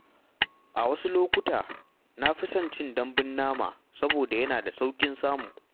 A wasu lokuta, na fi son cin dambun nama saboda yana da sauƙin samu.